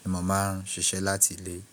ni mo máa ń ṣiṣẹ́ láti ilé.